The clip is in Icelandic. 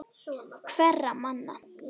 Hverra manna?